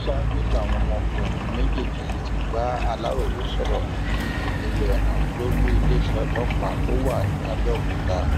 ṣáájú làwọn ọmọkùnrin méjèèjì yìí ti bá aláròye sọrọ ní ẹlẹwẹẹran lólu iléeṣẹ ọlọpàá tó wà ní àbẹòkúta